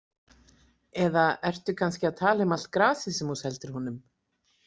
Eða ertu kannski að tala um allt grasið sem þú seldir honum?